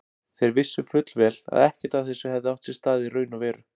Þeir vissu fullvel að ekkert af þessu hefði átt sér stað í raun og veru.